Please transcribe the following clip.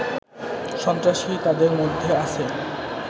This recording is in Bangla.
সন্ত্রাসী তাদের মধ্যে আছে